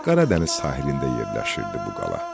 Qaradəniz sahilində yerləşirdi bu qala.